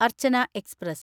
Archana express